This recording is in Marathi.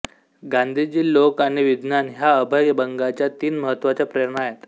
गांधीजी लोक आणि विज्ञान ह्या अभय बंगांच्या तीन महत्त्वाच्या प्रेरणा आहेत